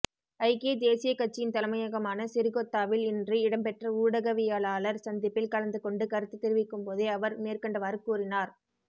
ஐக்கிய தேசியக் கட்சியின் தலைமையகமான சிறிகொத்தாவில் இன்று இடம்பெற்ற ஊடகவியலாளர் சந்திப்பில் கலந்துகொண்டு கருத்து தெரிவிக்கும்போதே அவர் மேற்கண்டவாறு கூறினார்